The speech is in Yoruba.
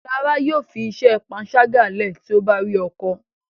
Lára yóò fí iṣé panṣaga lẹ ti o bá rí ọkọ